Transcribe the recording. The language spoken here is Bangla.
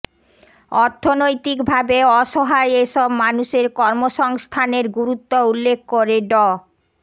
অর্থনৈতিকভাবে অসহায় এসব মানুষের কর্মসংস্থানের গুরুত্ব উল্লেখ করে ড